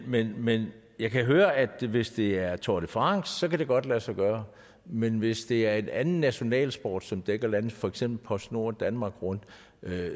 men men jeg kan høre at hvis det er tour de france kan det godt lade sig gøre men hvis det er en anden nationalsport som dækker landet som for eksempel postnord danmark rundt